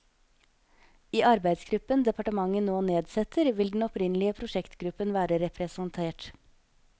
I arbeidsgruppen departementet nå nedsetter, vil den opprinnelige prosjektgruppen være representert.